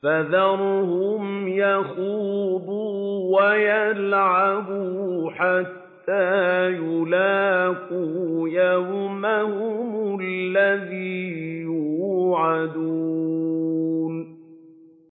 فَذَرْهُمْ يَخُوضُوا وَيَلْعَبُوا حَتَّىٰ يُلَاقُوا يَوْمَهُمُ الَّذِي يُوعَدُونَ